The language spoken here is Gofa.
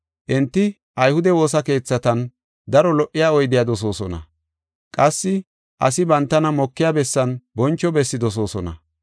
Enti ayhude woosa keethatan daro lo77iya oydiya dosoosona; qassi asi bantana mokiya bessan boncho bessi dosoosona.